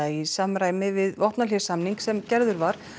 í samræmi við vopnahléssamning sem gerður var